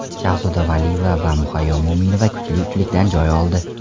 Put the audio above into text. Shahzoda Valiyeva va Muhayyo Mo‘minova kuchli uchlikdan joy oldi.